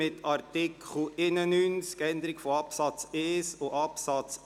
Entschuldigen Sie, es gibt ein Rückkommen auf Artikel 87 Absatz